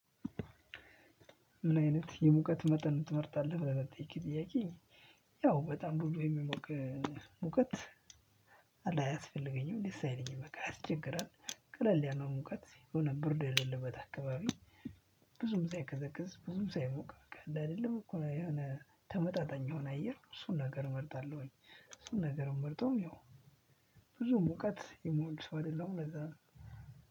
ምን አይነት የሙቀት መጠን ትመርጣለህ? ለጠየቅከኝ ጥያቄ ያው በጣም ብዙ የሚሞቅ ሙቀት አያስፈልገኝም ደስ አይለኝም በቃ ያስቸግራል ቀለል ያለው ሙቀት የሆነ ብርድ የሌለበት አካባቢ። ብዙም ሳይቀዘቅዝ ብዙም ሳይሞቅ አለ አይደለም እኮ የሆነ ተመጣጣኝ የሆነ አየር እሱን ነገር እመርጣለሁኝ። እሱን ነገር ምመርጠውም ያው ብዙ ሙቀት የምወድ ሰው አይደለም ለዛ ነው።